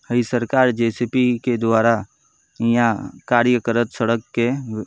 हई सरकार जेसीबी के द्वारा ईहाँ कार्य करत सड़क के --